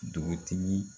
Dugutigi